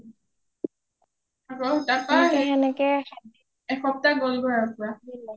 সেনেকে সেনেকে সাতদিন